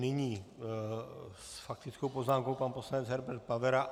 Nyní s faktickou poznámkou pan poslanec Herbert Pavera.